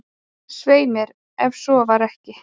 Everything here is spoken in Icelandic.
"""Svei mér, ef svo var ekki."""